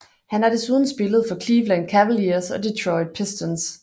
Han har desuden spillet for Cleveland Cavaliers og Detroit Pistons